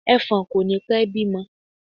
Ẹ̀fọ̀n kò ní pẹ́ bímọ.